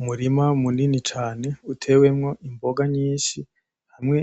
Umurima munini cane utewemwo imboga nyinshi hamwe